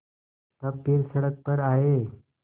तब फिर सड़क पर आये